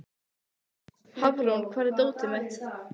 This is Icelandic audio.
Hafrún, hvar er dótið mitt?